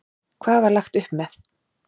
Hvað var lagt upp með?